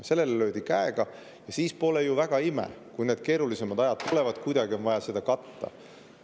Siis pole ju väga ime, et kui need keerulisemad ajad tulevad, on seda kuidagi vaja katta.